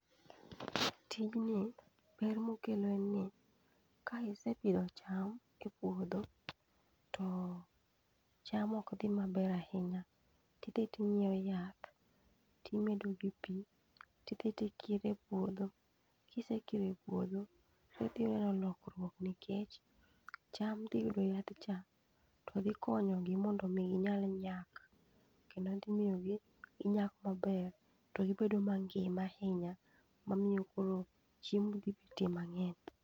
Tijni ber mokelo en ni ka isepidho e puodho to cham ok dhi maber ahinya, tidhi ting'iweo yath timedo gi pi. Tidhi tikire puodho, kisekire puodho, to idhi neno lokruok nikech cham dhi yudo yadhcha to dhi konyogi mondo mi ginyal nyak. Ema dhimiyo ginyak maber, to gibedo mangima ahinya, mamiyo koro chiemo dhi betie mang'eny.